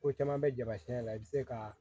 Ko caman bɛ jama siyɛn la i bɛ se ka